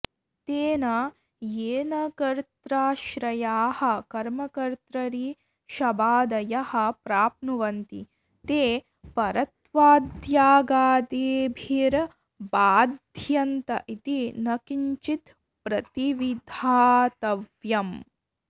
तेन येन कत्र्राश्रयाः कर्मकत्र्तरि शबादयः प्राप्नुवन्ति ते परत्वाद्यगादिभिर्बाध्यन्त इति न किञ्चित्प्रतिविधातव्यम्